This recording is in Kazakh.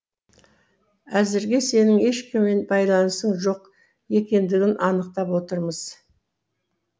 әзірге сенің ешкіммен байланысың жоқ екендігін анықтап отырмыз